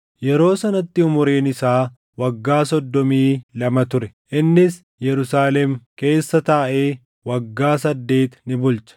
Yeroo sanatti umuriin isaa waggaa soddomii lama ture; innis Yerusaalem keessa taaʼee waggaa saddeet ni bulche.